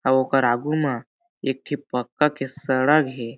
अउ ओकार आगू मा एक ठी पक्का के सड़ग हे।